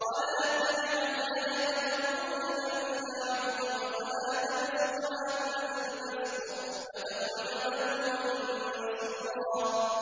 وَلَا تَجْعَلْ يَدَكَ مَغْلُولَةً إِلَىٰ عُنُقِكَ وَلَا تَبْسُطْهَا كُلَّ الْبَسْطِ فَتَقْعُدَ مَلُومًا مَّحْسُورًا